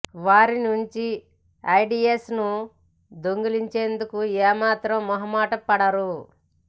వారి నుంచి ఐడియాస్ ను దొంగిలించేందుకు ఏ మాత్రం మొహమాటపడరు